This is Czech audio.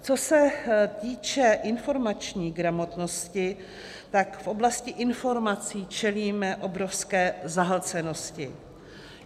Co se týče informační gramotnosti, tak v oblasti informací čelíme obrovské zahlcenosti.